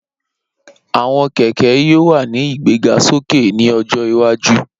Awọn kẹkẹ yoo wa ni igbegasoke ni ojo iwaju